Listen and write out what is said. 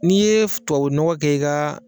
N'i ye tubabunɔgɔ kɛ i ka